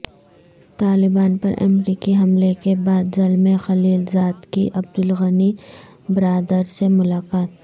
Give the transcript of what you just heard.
طالبان پر امریکی حملے کے بعد زلمے خلیل زاد کی عبدالغنی برادر سے ملاقات